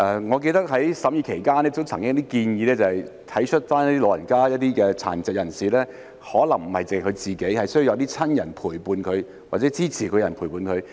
我記得在審議期間曾經有建議，就是要體恤老人家及殘疾人士，他們可能需要有親人或照顧者陪伴。